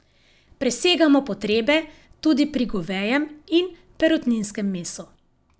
Presegamo potrebe tudi pri govejem in perutninskem mesu.